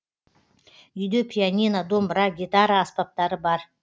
үйде пианино домбыра гитара аспаптары бар